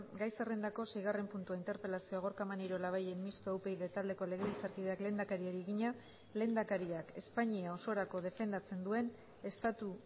gai zerrendako seigarren puntua interpelazio gorka maneiro labayen mistoa upyd taldeko legebiltzarkideak lehendakariari egina lehendakariak espainia osorako defendatzen duen estatu